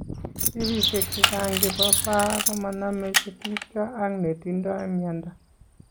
Kesishek chechang chepo pah komaname chetupcho ak netindoi miondo